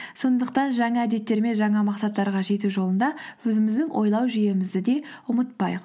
сондықтан жаңа әдеттер мен жаңа мақсаттарға жету жолында өзіміздің ойлау жүйемізді де ұмытпайық